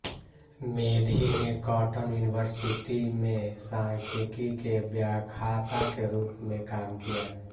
मेधी ने Cotton University में सांख्यिकी के व्याख्याता के रूप में काम किया